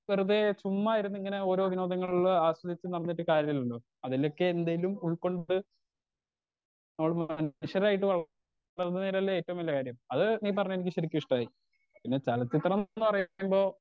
വെറുതെ ചുമ്മാ ഇരിന്ന് ഇങ്ങനെ ഓരോ വിനോദങ്ങളിൽ ആസ്വദിച്ച് നടന്നിട്ട് കാര്യല്ലല്ലോ അതിലേക്ക് എന്തേലും ഉൾകൊണ്ട് നടന്ന് മനുഷ്യരായിട്ട് വള വളർന്ന് വരലെ ഏറ്റവും വലിയ കാര്യം അത് നീ പറഞ്ഞത് എനിക്ക് ശരിക്കും ഇഷ്ട്ടായി പിന്നെ ചെല ചിത്രന്ന് പറയുമ്പോ